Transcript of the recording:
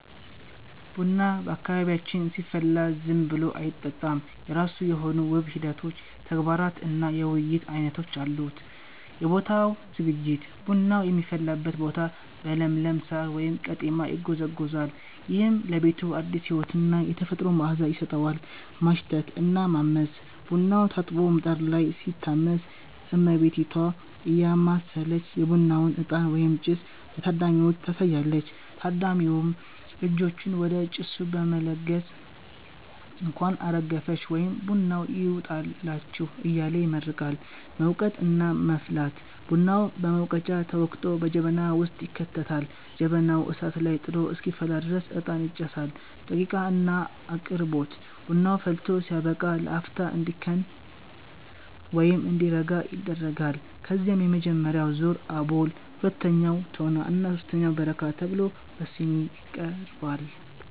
ቡና በአካባቢያችን ሲፈላ ዝም ብሎ አይጠጣም፤ የራሱ የሆኑ ውብ ሂደቶች፣ ተግባራት እና የውይይት ዓይነቶች አሉት። የቦታው ዝግጅት፦ ቡናው የሚፈላበት ቦታ በለምለም ሳር (ቀጤማ) ይጎዘጎዛል። ይህም ለቤቱ አዲስ ሕይወትና የተፈጥሮ መዓዛ ይሰጠዋል። ማሽተት እና ማመስ፦ ቡናው ታጥቦ ምጣድ ላይ ሲታመስ፣ እመቤቲቷ እያማሰለች የቡናውን እጣን (ጭስ) ለታዳሚዎቹ ታሳያለች። ታዳሚውም እጆቹን ወደ ጭሱ በመለገስ "እንኳን አረገፈሽ" ወይም "ቡናው ይውጣላችሁ" እያለ ይመርቃል። መውቀጥ እና መፍላት፦ ቡናው በሙቀጫ ተወቅጦ በጀበና ውስጥ ይከተታል። ጀበናው እሳት ላይ ጥዶ እስኪፈላ ድረስ እጣን ይጨሳል። ደቂቅ እና አቅርቦት፦ ቡናው ፈልቶ ሲያበቃ ለአፍታ እንዲከን (እንዲረጋ) ይደረጋል። ከዚያም የመጀመሪያው ዙር (አቦል)፣ ሁለተኛው (ቶና) እና ሦስተኛው (በረካ) ተብሎ በሲኒ ይቀርባል።